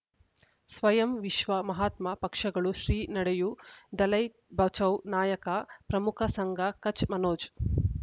ಸ್ವಯಂ ವಿಶ್ವ ಮಹಾತ್ಮ ಪಕ್ಷಗಳು ಶ್ರೀ ನಡೆಯೂ ದಲೈ ಬಚೌ ನಾಯಕ ಪ್ರಮುಖ ಸಂಘ ಕಚ್ ಮನೋಜ್